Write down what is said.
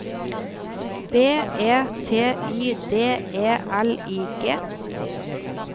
B E T Y D E L I G